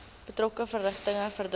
betrokke verrigtinge verdaag